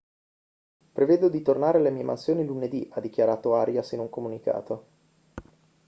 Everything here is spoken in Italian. prevedo di tornare alle mie mansioni lunedì ha dichiarato arias in un comunicato